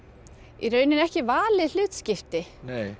í rauninni ekki valið hlutskipti